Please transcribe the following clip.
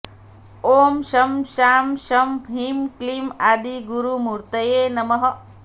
ॐ शं शां षं ह्रीं क्लीं आदिगुरुमूर्तये नमः